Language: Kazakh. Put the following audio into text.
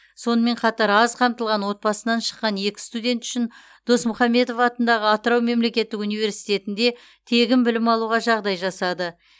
сонымен қатар аз қамтылған отбасынан шыққан екі студент үшін досмұхамедов атындағы атырау мемлекеттік университетінде тегін білім алуға жағдай жасады